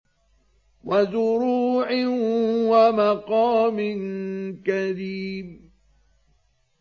وَزُرُوعٍ وَمَقَامٍ كَرِيمٍ